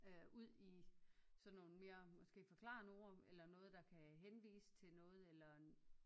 Ud i sådan nogle mere måske forklarende ord eller noget der kan henvise til noget eller